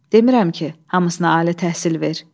Demirəm ki, hamısına ali təhsil ver.